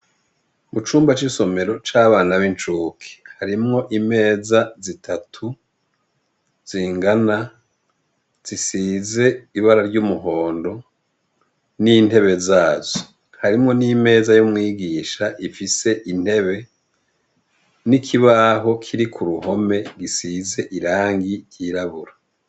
Mu cumba c'isomero c'abana b'incuki harimwo imeza zitatu zingana zisize ibara ry'umuhondo n'intebe zazo harimwo n'imeza yo umwigisha ifise intebe n'ikibaho kiri ku ruhome gisize irangi ryirabura.